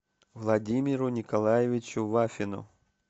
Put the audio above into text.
владимиру николаевичу вафину